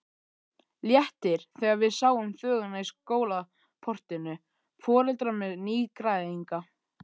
Léttir þegar við sjáum þvöguna í skólaportinu, foreldrar með nýgræðinga.